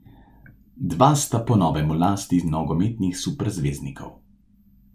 Dva sta po novem v lasti nogometnih superzvezdnikov.